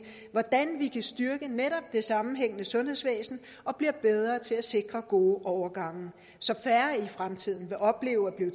hvordan vi kan styrke netop det sammenhængende sundhedsvæsen og blive bedre til at sikre gode overgange så færre i fremtiden vil opleve at blive